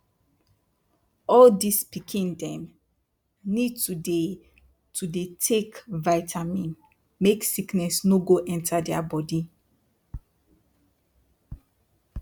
all dis pikin dem need to dey to dey take vitamin make sickness no go enter dia bodi